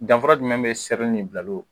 Danfa jumɛn bɛ sɛbɛn ni bilalo?